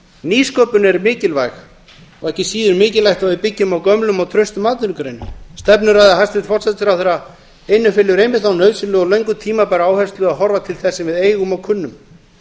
nýsköpun er mikilvæg og ekki síður mikilvægt að við byggjum á gömlum og traustum atvinnugreinum stefnuræða hæstvirts forsætisráðherra innifelur einmitt þá nauðsynlegu og löngu tímabæru áherslu að horfa til þess sem við eigum og kunnum